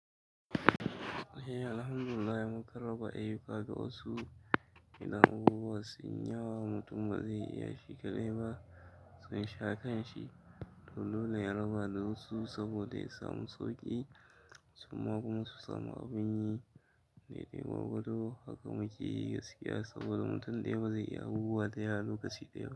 Eh alhamdulillah mukan raba ayuka ga wasu, idan abubuwa sunyi yawa mutum ba zai iya shi kaɗai ba. Sun sha kanshi, dole ya raba da wasu saboda ya samu sauƙi, suma kuma su samu abin yi. Dai dai gwargwado haka muke yi gaskiya saboda mutum ɗaya ba zai yi abubuwa da yawa lokaci ɗaya ba.